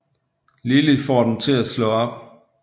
Lily får dem til at slå op